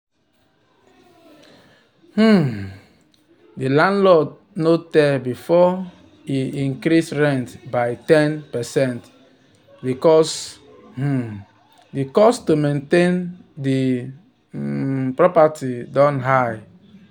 um the landlord no tell before e increase rent by ten percent because the um cost to maintain the um property don high.